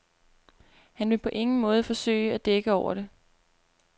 Han vil på ingen måde forsøge at dække over det.